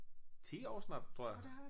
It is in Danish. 10 år snart tror jeg